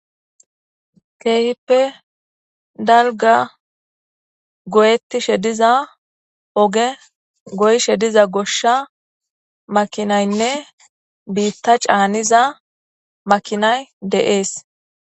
Keehippe dalga goyettishe diza oge goyshe diza goshsha makinaynne biitta caaniza makinay deees